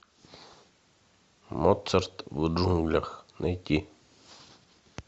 моцарт в джунглях найти